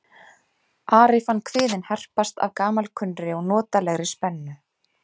Ari fann kviðinn herpast af gamalkunnri og notalegri spennu.